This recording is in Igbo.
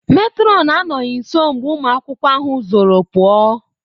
Matron anọghị nso mgbe ụmụ akwụkwọ ahụ zoro pụa.